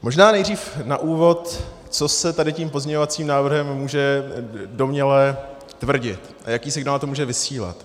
Možná nejdřív na úvod, co se tady tím pozměňovacím návrhem může domněle tvrdit a jaký signál to může vysílat.